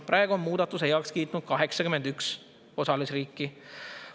Praegu on muudatuse heaks kiitnud 81 osalisriiki.